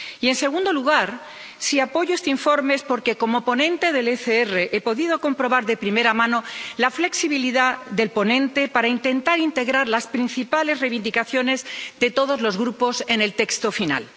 Y, en segundo lugar, si apoyo este informe es porque, como ponente del Grupo ECR, he podido comprobar de primera mano la flexibilidad del ponente para intentar integrar las principales reivindicaciones de todos los grupos en el texto final.